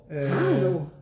Har du?